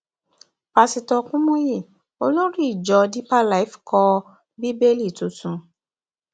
pásítọ kùmùyí olórí ìjọ deeper life kọ bíbélì tuntun